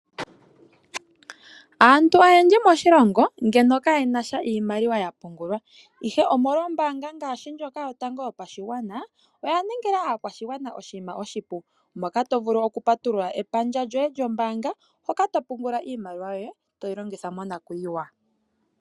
Aantu oyendji moshilongo ngeno kayena sha iimaliwa ya pungulwa, ihe omolwa ombaanga ngaashi ndjoka yotango yopashigwana oya ningila aakwashigwana oshinima oshipu moka to vulu oku patulula epandja lyoye lyombaanga hoka to pungula iimaliwa yoye toyi longitha monakuyiwa.